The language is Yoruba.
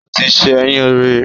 O tì ṣẹyun rí